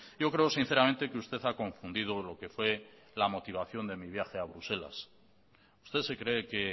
yo creo sinceramente que usted ha confundido lo que fue la motivación de mi viaje a bruselas usted se cree que